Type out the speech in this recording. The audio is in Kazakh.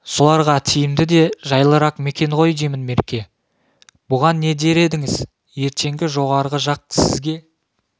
соларға тиімді де жайлырақ мекен ғой деймін мерке бұған не дер едіңіз ертең жоғарғы жақ сізге